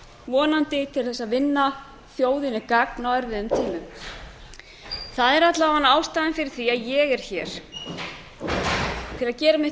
vonandi til þess að vinna þjóðinni gagn á erfiðum tímum það er alla vega ástæðan fyrir því að ég er hér til að gera mitt